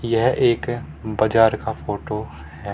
यह एक बजार का फोटो हैं।